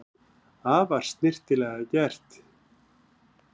Afar snyrtilega gert